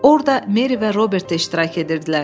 Orda Meri və Robert də iştirak edirdilər.